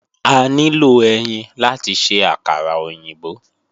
A nílò ẹyin láti ṣe àkàrà òyìnbó